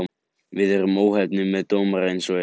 Við erum óheppnir með dómara eins og er.